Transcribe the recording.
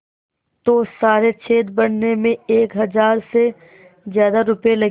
तो सारे छेद भरने में एक हज़ार से ज़्यादा रुपये लगेंगे